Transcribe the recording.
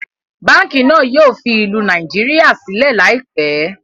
Báànkì náà yìí ó fi ìlú Nàìjíríà sílẹ̀ laipẹ́